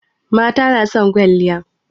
Mata na son kwalliya